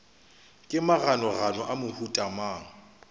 ke maganogano a mohuta mang